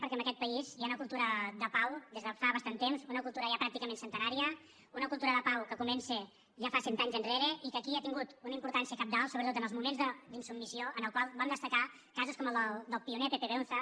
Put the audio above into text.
perquè en aquest país hi ha una cultura de pau des de fa bastant temps una cultura ja pràcticament centenària una cultura de pau que comença ja fa cent anys enrere i que aquí ha tingut una importància cabdal sobretot en els moments d’insubmissió en els quals van destacar casos com el del pioner pepe beúnza